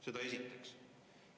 Seda esiteks.